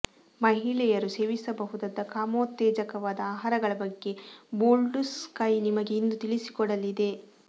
ಮಹಿಳೆಯರು ಸೇವಿಸಬಹುದಾದ ಕಾಮೋತ್ತೇಜಕವಾದ ಆಹಾರಗಳ ಬಗ್ಗೆ ಬೋಲ್ಡ್ ಸ್ಕೈ ನಿಮಗೆ ಇಂದು ತಿಳಿಸಿಕೊಡಲಿದೆ